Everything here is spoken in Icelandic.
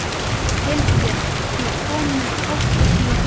Hildibjörg, ég kom með áttatíu húfur!